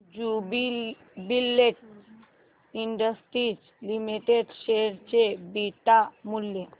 Jubilant Industries Limited share चे beta मूल्य